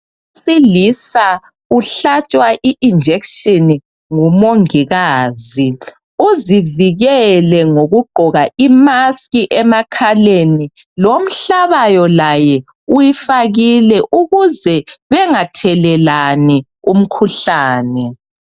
Owesilisa uhlatshwa injection ngumongikazi, uzivikele ngokugqoka i maskhi emakhaleni lomhlabayo laye uyifakile ukuze bengathelelani umkhuhlane.